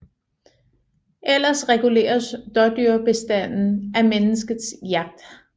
Ellers reguleres dådyrbestanden af menneskets jagt